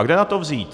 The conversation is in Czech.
A kde na to vzít?